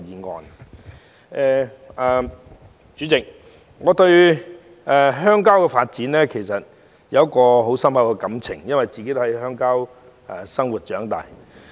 代理主席，我對鄉郊有深厚感情，因我是在鄉郊生活和長大。